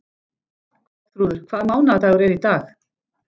Ástþrúður, hvaða mánaðardagur er í dag?